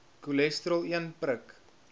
cholesterol een prik